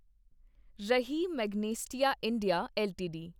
ਰਹੀ Magnesita India LTD